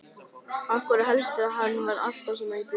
Af hverju heldurðu að hann vaði alltaf svona í bjór?